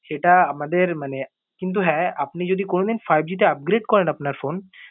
সেটা আমাদের মানে কিন্তু হ্যাঁ আপনি যদি কোনো দিন যদি five G তে upgrade করেন আপনার phone